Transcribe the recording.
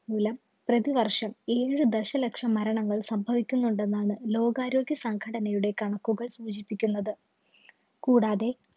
മൂലം പ്രതിവര്‍ഷം ഏഴ് ദശലക്ഷം മരണങ്ങള്‍ സംഭവിക്കുന്നുണ്ടെന്നാണ് ലോകാരോഗ്യ സംഘടനയുടെ കണക്കുകള്‍ സൂചിപ്പിക്കുന്നത്. കൂടാതെ,